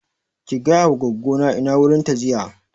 Ki gaya wa goggo na ina wurin ta jiya